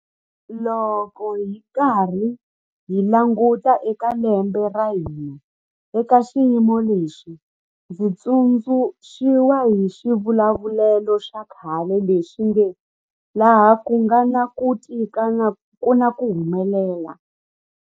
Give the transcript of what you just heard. Loko hi karhi hi languta eka lembe ra hina eka xiyimo lexi, ndzi tsundzu xiwa hi xivulavulelo xa khale lexi nge 'laha ku nga na ku tika ku na ku humelela'.